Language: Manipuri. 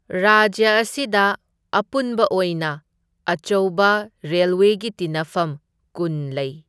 ꯔꯥꯖ꯭ꯌ ꯑꯁꯤꯗ ꯑꯄꯨꯟꯕ ꯑꯣꯏꯅ ꯑꯆꯧꯕ ꯔꯦꯜꯋꯦꯒꯤ ꯇꯤꯟꯅꯐꯝ ꯀꯨꯟ ꯂꯩ꯫